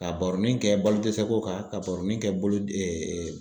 Ka baroni kɛ balodɛsɛ ko kan, ka baroni kɛ